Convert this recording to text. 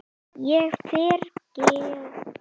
Ég fyrirgef þér það.